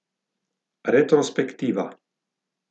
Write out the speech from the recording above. Retrospektiva.